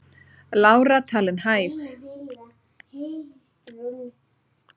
Lára talin hæf